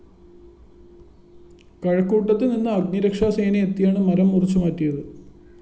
കഴക്കൂട്ടത്ത് നിന്ന് അഗ്‌നിരക്ഷാസേന എത്തിയാണ് മരം മുറിച്ചുമാറ്റിയത്